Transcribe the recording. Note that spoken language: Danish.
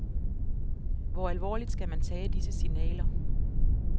Hvor alvorligt skal man tage disse signaler?